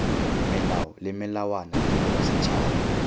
melao le melawana tirelo setšhaba